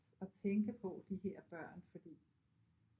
At tænke på de her børn fordi